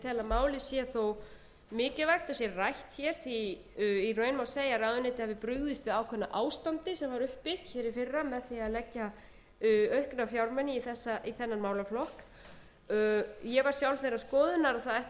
málið sé þó mikilvægt að það sé rætt því í raun má segja að ráðuneytið hafi brugðist við ákveðnu ástandi sem var uppi í fyrra með því að leggja aukna fjármuni í þennan málaflokk ég var sjálf þeirrar skoðunar að það ætti